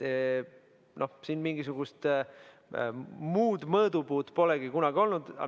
Siin mingisugust muud mõõdupuud polegi kunagi olnud.